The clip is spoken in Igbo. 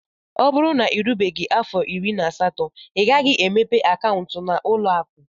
O bụrụ na irubeghi afọ irí na asatọ ighaghi emepe akauntu na ụlọ akụ.